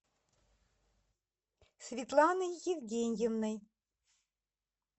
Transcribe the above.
светланой евгеньевной